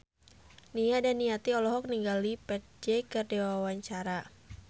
Nia Daniati olohok ningali Ferdge keur diwawancara